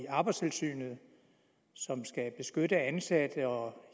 arbejdstilsynet som skal beskytte ansatte og